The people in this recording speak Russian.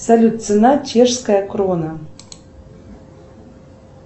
салют цена чешская крона